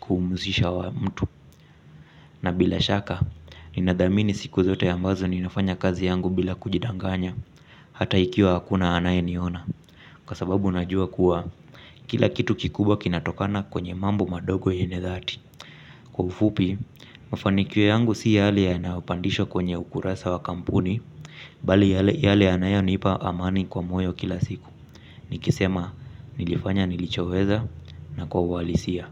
kumhusisha mtu. Na bila shaka, ninadhamini siku zote ambazo ninafanya kazi yangu bila kujidanganya. Hata ikiwa hakuna anaye niona kwa sababu najua kuwa, kila kitu kikubwa kinatokana kwenye mambo madogo yenye dhati. Kwa ufupi, mafanikio yangu si yale yanayopandishwa kwenye ukurasa wa kampuni bali yale yanayonipa amani kwa moyo kila siku. Nikisema, nilifanya nilichoweza na kwa uhalisia.